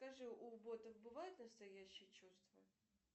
скажи у ботов бывают настоящие чувства